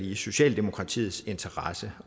i socialdemokratiets interesse